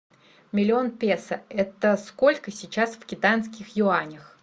миллион песо это сколько сейчас в китайских юанях